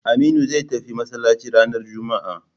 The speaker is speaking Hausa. Aminu zai tafi masallaci ranar juma'a